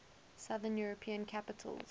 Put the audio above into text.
southern european capitals